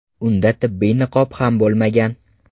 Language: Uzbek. Unda tibbiy niqob ham bo‘lmagan.